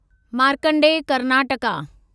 Markandeya Karnataka